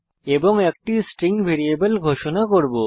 এবং একটি string variable ঘোষণা করব